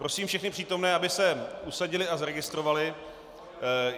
Prosím všechny přítomné, aby se usadili a zaregistrovali.